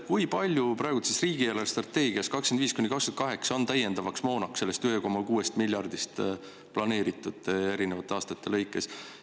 Kui palju praegu riigi eelarvestrateegias 2025–2028 on täiendava moona soetamiseks sellest 1,6 miljardist planeeritud erinevate aastate lõikes?